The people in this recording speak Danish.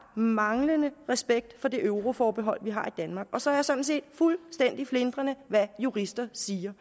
manglende respekt for det euroforbehold vi har i danmark og så er jeg sådan set fuldstændig flintrende ligeglad hvad juristerne siger